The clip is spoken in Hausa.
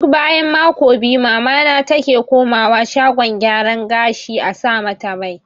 Duk bayan mako biyu mamana take komawa shagon gyara gashi a sa mata mai